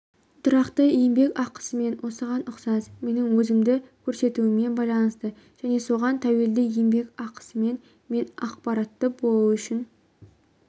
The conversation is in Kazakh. тұрақты еңбекақысымен осыған ұқсас менің өзімді көрсетуіме байланысты және соған тәуелді еңбекақысымен мен ақпаратты болу үшін